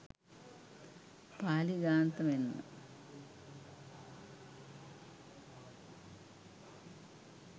පාලි ග්‍රන්ථ මෙන්ම